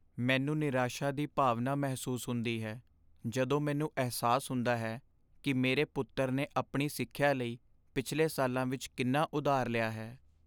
ਮੈਨੂੰ ਨਿਰਾਸ਼ਾ ਦੀ ਭਾਵਨਾ ਮਹਿਸੂਸ ਹੁੰਦੀ ਹੈ ਜਦੋਂ ਮੈਨੂੰ ਅਹਿਸਾਸ ਹੁੰਦਾ ਹੈ ਕਿ ਮੇਰੇ ਪੁੱਤਰ ਨੇ ਆਪਣੀ ਸਿੱਖਿਆ ਲਈ ਪਿਛਲੇ ਸਾਲਾਂ ਵਿਚ ਕਿੰਨਾ ਉਧਾਰ ਲਿਆ ਹੈ।